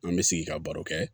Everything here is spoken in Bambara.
An bɛ sigi ka baro kɛ